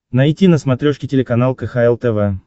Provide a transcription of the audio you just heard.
найти на смотрешке телеканал кхл тв